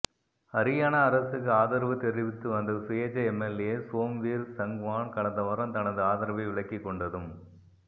ஹரியாணா அரசுக்கு ஆதரவு தெரிவித்துவந்த சுயேச்சை எம்எல்ஏ சோம்வீர் சங்வான் கடந்த வாரம் தனது ஆதரவை விலக்கிக் கொண்டதும்